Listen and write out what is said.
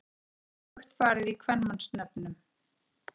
Þessu er öfugt farið í kvenmannsnöfnum.